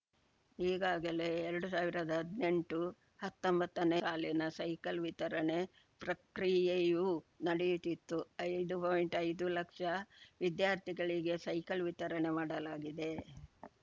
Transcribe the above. ಈಗಾಗಲೇ ಎರಡು ಸಾವಿರದಾ ಹದ್ನೆಂಟುಹತ್ತೊಂಬತ್ತನೇ ಸಾಲಿನ ಸೈಕಲ್‌ ವಿತರಣೆ ಪ್ರಕ್ರಿಯೆಯೂ ನಡೆಯುತ್ತಿತ್ತು ಐದು ಪಾಯಿಂಟ್ಐದು ಲಕ್ಷ ವಿದ್ಯಾರ್ಥಿಗಳಿಗೆ ಸೈಕಲ್‌ ವಿತರಣೆ ಮಾಡಲಾಗಿದೆ